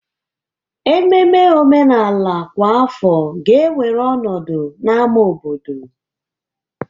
Ememe omenala kwa afọ ga-ewere ọnọdụ na ámá obodo.